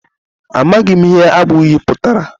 Amaghị m ihe agba uyị pụtara